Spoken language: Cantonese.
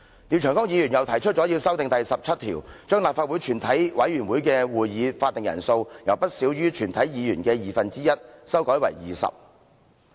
廖長江議員又提出修訂《議事規則》第17條，將立法會全體委員會會議的法定人數，由不少於全體議員的二分之一，修改為20人。